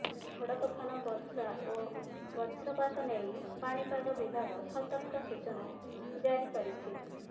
ଝଡ଼ତୋଫାନ ବର୍ଷା ଓ ବଜ୍ରପାତ ନେଇ ପାଣିପାଗ ବିଭାଗ ସତର୍କ ସୂଚନା ଜାରି କରିଛି